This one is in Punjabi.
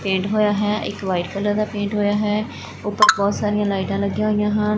ਪੇਂਟ ਹੋਇਆ ਹੈ ਇੱਕ ਵਾਈਟ ਕਲਰ ਦਾ ਪੇਂਟ ਹੋਇਆ ਹੈ ਉੱਪਰ ਬਹੁਤ ਸਾਰੀਆਂ ਲਾਈਟਾਂ ਲੱਗੀਆਂ ਹੋਈਆਂ ਹਨ।